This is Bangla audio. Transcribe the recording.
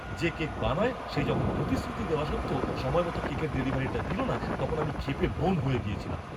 যে কেক বানায় সে যখন প্রতিশ্রুতি দেওয়া সত্ত্বেও সময়মতো কেকের ডেলিভারিটা দিল না, তখন আমি ক্ষেপে ব্যোম হয়ে গেছিলাম।